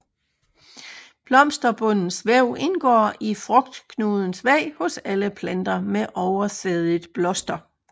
Blomsterbundens væv indgår i frugtknudens væg hos alle planter med oversædigt bloster